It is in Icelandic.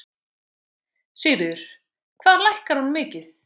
Sigríður: Hvað lækkar hún mikið?